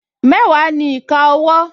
Mẹ́wàá ni ìka owó